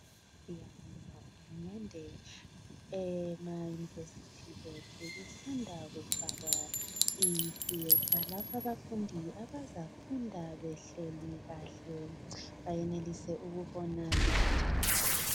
Siyabonga uhulumende, emayunivesithi kusanda kufakwa ithiyetha lapha abafundi abazafunda behleli kahle bayenelise ukubona lotitshala.